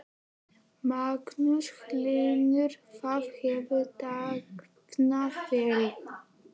Magnús Hlynur: Það hefur dafnað vel?